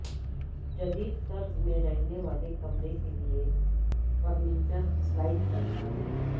جدید طرز میں رہنے والے کمرے کے لئے فرنیچر سلائڈ کرتا ہے